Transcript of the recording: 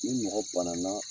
Ni mɔgɔ bana na